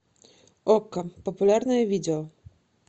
окко популярные видео